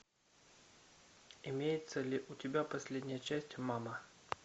имеется ли у тебя последняя часть мама